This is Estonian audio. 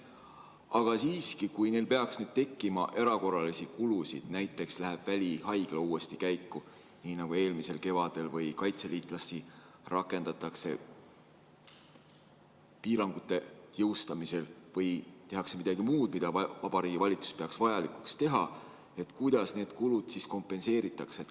Aga siiski, kui neil peaks tekkima erakorralisi kulusid, näiteks läheb välihaigla uuesti käiku nii nagu eelmisel kevadel või kaitseliitlasi rakendatakse piirangute jõustamisel või tehakse midagi muud, mida Vabariigi Valitsus peab vajalikuks, siis kuidas need kulud kompenseeritakse?